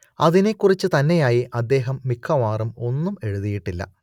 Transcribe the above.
അതിനെക്കുറിച്ച് തന്നെയായി അദ്ദേഹം മിക്കവാറും ഒന്നും എഴുതിയിട്ടില്ല